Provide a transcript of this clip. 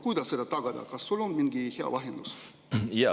Kuidas seda tagada, kas sul on mingi hea lahendus?